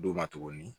D'u ma tuguni